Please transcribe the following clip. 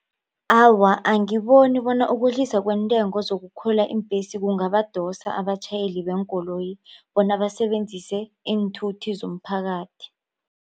Awa angiboni bona ukwehliswa kweentengo zokukhwela iimbhesi kungabadosa abatjhayeli beenkoloyi bona basebenzise iinthuthi zomphakathi.